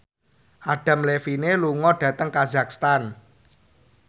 Adam Levine lunga dhateng kazakhstan